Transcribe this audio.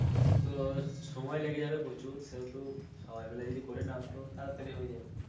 ও, তো সময় লেগে যাবে প্রচুর সেহেতু সবাই মিলে যদি করে নাও তো তাড়াতাড়ি হয়ে যাবে.